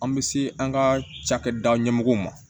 An bɛ se an ka cakɛda ɲɛmɔgɔw ma